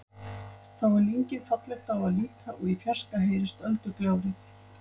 Þá er lyngið fallegt á að líta og í fjarska heyrist öldugjálfrið.